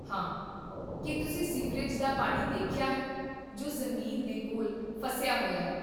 ਹਾਂ, ਕੀ ਤੁਸੀਂ ਸੀਵਰੇਜ ਦਾ ਪਾਣੀ ਦੇਖਿਆ ਹੈ ਜੋ ਜ਼ਮੀਨ ਦੇ ਕੋਲ ਫਸਿਆ ਹੋਇਆ ਹੈ?